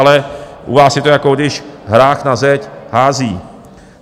Ale u vás je to, jako když hrách na zeď hází.